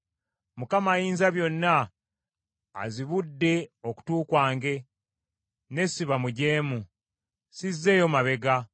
Mukama Ayinzabyonna azibudde okutu kwange ne siba mujeemu. Sizzeeyo mabega.